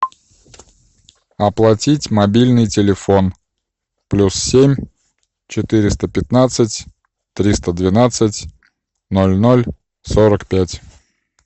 оплатить мобильный телефон плюс семь четыреста пятнадцать триста двенадцать ноль ноль сорок пять